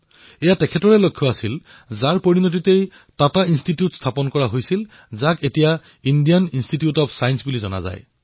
এয়া তেওঁৰ বীক্ষণৰ পৰিণামস্বৰূপেই টাটা ইন্সটিটিউট অব্ ছায়েন্সৰ স্থাপন হল যাক বৰ্তমানে ইণ্ডিয়ান ইন্সটিটিউট অব্ ছায়েন্স বুলি জনা যায়